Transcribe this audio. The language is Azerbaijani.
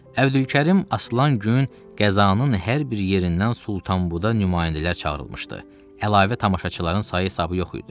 Əbdülkərim aslan gün qəzanın hər bir yerindən Sultanbuda nümayəndələr çağırılmışdı, əlavə tamaşaçıların sayı hesabı yox idi.